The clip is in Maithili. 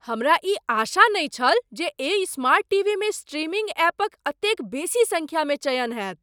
हमरा ई आशा नहि छल जे एहि स्मार्ट टीवीमे स्ट्रीमिंग ऐपक एतेक बेसी संख्या मे चयन होयत!